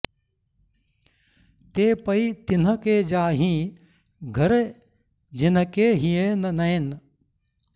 ते पै तिन्ह के जाहिं घर जिन्ह के हिएँ न नैन